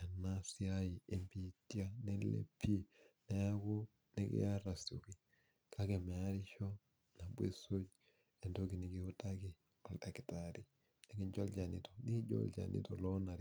ena siai ee bitia neilepie neeku nikiarr asioki , kake meerisho tenisuj entoki nikiotaki oldaktari niijo olchani